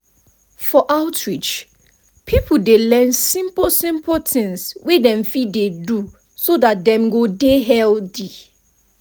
for outreach people dey learn simple simple things wey dem fit dey do so that dem go dey healthy.